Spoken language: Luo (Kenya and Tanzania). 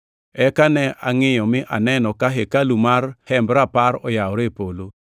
Eka ne angʼiyo mi aneno ka hekalu mar Hemb Rapar oyawore e polo.